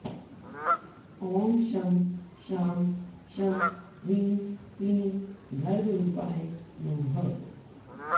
ॐ शं शां षं ह्रीं क्लीं गर्भरूपाय नमः